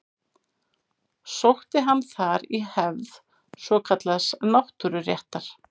Sótti hann þar í hefð svokallaðs náttúruréttar.